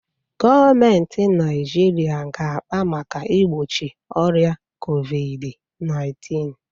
Gọọmentị Naịjiriịa ga-akpa maka igbochi ọrịa COVID_19.